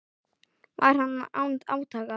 Var hann án átaka.